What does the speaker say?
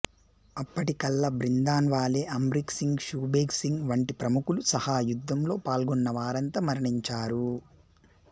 అప్పటికల్లా Bhindranwale Amrik Singh Shabeg Singh వంటి ప్రముఖులు సహా యుద్ధంలో పాల్గొన్నవారంతా మరణించారు